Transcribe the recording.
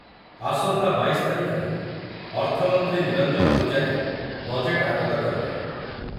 ଆସନ୍ତା ବାଇଶ ତାରିଖରେ ଅର୍ଥମନ୍ତ୍ରୀ ନିରଞ୍ଜନ ପୂଜାରୀ ବଜେଟ୍‌‌‌ ଆଗତ କରିବେ।